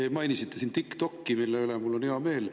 Te mainisite siin TikTokki, mille üle mul on hea meel.